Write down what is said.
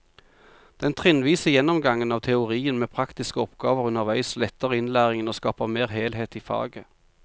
Den trinnvise gjennomgangen av teorien med praktiske oppgaver underveis letter innlæringen og skaper mer helhet i faget.